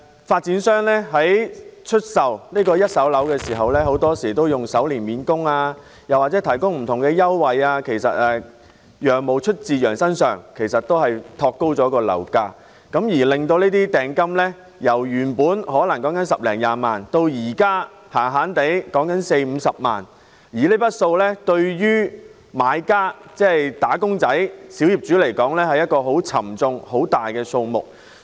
發展商出售一手住宅物業時，往往以首年免供或提供不同優惠作招徠，但"羊毛出自羊身上"，發展商變相托高了樓價，令訂金由十多二十萬元變成四五十萬元，而這筆款項對於買家來說，是一個很巨大的數目。